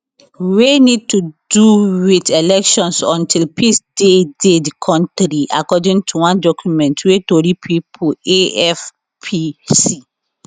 wey need to do wit elections until peace dey dey di kontri according to one document wey tori pipo afp see